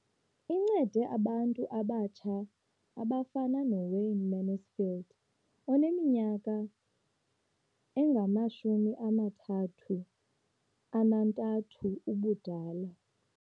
Incede abantu abatsha abafana noWayne Mansfield oneminyaka engama-33 ubudala.